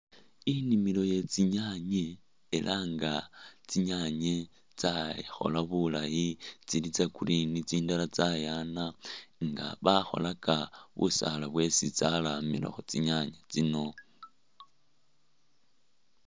Inimilo yetsinyaanye elah nga tsinyanye tsakhola bulaayi tsili tsa'green tsindala tsayaana nga bakholaka busaala bwesi tsalamilakho tsinyaanye tsino